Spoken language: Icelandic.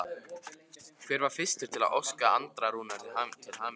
Hver var fyrstur til að óska Andra Rúnari til hamingju?